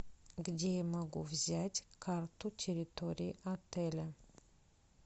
где я могу взять карту территории отеля